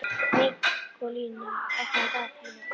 Nikólína, opnaðu dagatalið mitt.